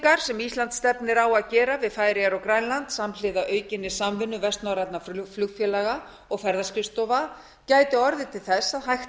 loftferðasamningar sem ísland stefnir á að gera við færeyjar og grænland samhliða aukinni samvinnu vestnorrænna flugfélaga og ferðaskrifstofa gæti orðið til að hægt